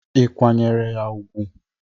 Ị kwanyeru ya ugwu?